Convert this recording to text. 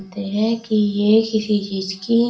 कि ये किसी चीज की--